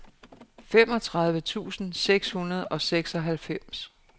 femogtredive tusind seks hundrede og seksoghalvfems